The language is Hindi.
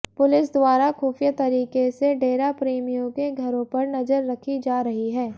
पुलिस द्वारा खुफिया तरीके से डेराप्रेमियों के घरों पर नजर रखी जा रही है